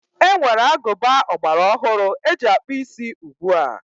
E nwere agụba ọgbara ọhụrụ e ji akpụ isí ugbua.